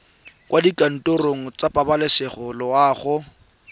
kwa dikantorong tsa pabalesego loago